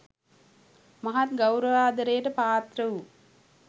මහත් ගෞරවාදරයට පාත්‍ර වූ